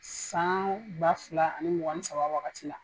San ba fila ani mugan ni saba wagati la.